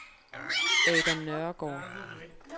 Adam Nørregaard